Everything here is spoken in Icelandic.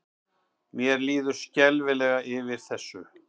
Mér líður skelfilega yfir þessu.